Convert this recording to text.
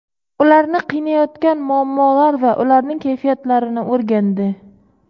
ularni qiynayotgan muammolar va ularning kayfiyatlarini o‘rgandi.